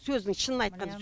сөздің шынын айтқанда